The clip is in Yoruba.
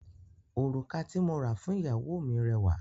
Òrùka tí mo ra fún ìyàwó mi rẹwà.